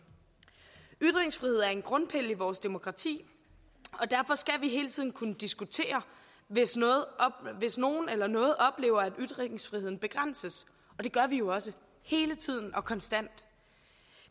ytringsfrihed er en grundpille i vores demokrati og derfor skal vi hele tiden kunne diskutere hvis nogen oplever at ytringsfriheden begrænses og det gør vi jo også hele tiden og konstant